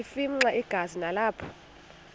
afimxa igazi nalapho